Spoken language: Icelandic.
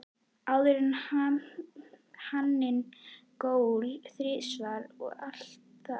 Áður en haninn gól þrisvar og allt það?